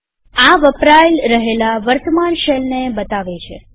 આ વપરાય રહેલા વર્તમાન શેલને બતાવે છે